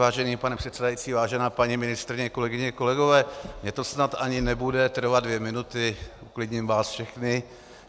Vážený pane předsedající, vážená paní ministryně, kolegyně, kolegové, mně to snad ani nebude trvat dvě minuty, uklidním vás všechny.